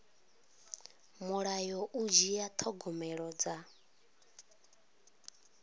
mulayo u dzhia thogomelo dza